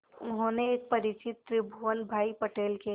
उन्होंने एक परिचित त्रिभुवन भाई पटेल के